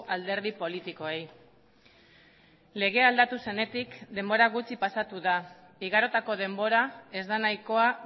alderdi politikoei legea aldatu zenetik denbora gutxi pasatu da igarotako denbora ez da nahikoa